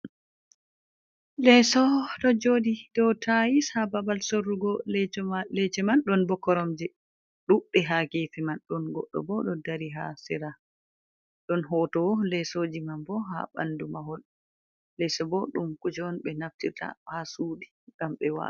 Leeso ɗo joɗi dow tais ha babal sorrugo leso lece man ɗon ɓo koromje ɗudɓe ha gefe man ɗon goɗɗo bo ɗo dari ha sira ɗon hoto lesoji man bo ha ɓandu mahol, leso bo ɗum kujen ɓe naftirta ha suɗi gam ɓe wala.